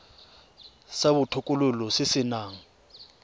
sa botokololo se se nang